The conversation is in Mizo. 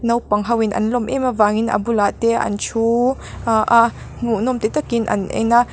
naupang ho in an lawm em avangin a bulah te an thu ah a hmuhnawm ti takin an en a.